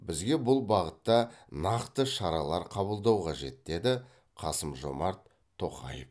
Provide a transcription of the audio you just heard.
бізге бұл бағытта нақты шаралар қабылдау қажет деді қасым жомарт тоқаев